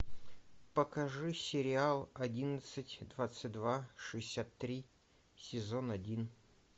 покажи сериал одиннадцать двадцать два шестьдесят три сезон один